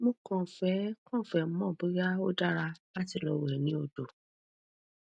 mo kàn fẹ kàn fẹ mọ bóyá ó dára láti lọ wẹ ni odo